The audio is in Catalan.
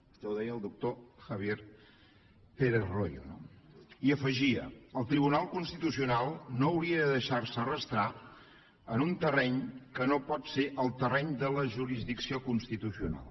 això ho deia el doctor javier pérez royo no i afegia el tribunal constitucional no hauria de deixarse arrossegar en un terreny que no pot ser el terreny de la jurisdicció constitucional